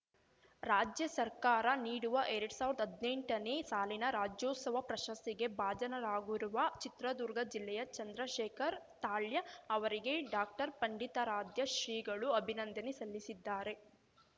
ರಾಜ್ಯ ಸರ್ಕಾರ ನೀಡುವ ಎರಡ್ ಸಾವಿರ್ದಾ ಹದ್ನೆಂಟನೇ ಸಾಲಿನ ರಾಜ್ಯೋತ್ಸವ ಪ್ರಶಸ್ತಿಗೆ ಭಾಜನರಾಗಿರುವ ಚಿತ್ರದುರ್ಗ ಜಿಲ್ಲೆಯ ಚಂದ್ರಶೇಖರ್‌ ತಾಳ್ಯ ಅವರಿಗೆ ಡಾಕ್ಟರ್ಪಂಡಿತಾರಾಧ್ಯ ಶ್ರೀಗಳು ಅಭಿನಂದನೆ ಸಲ್ಲಿಸಿದ್ದಾರೆ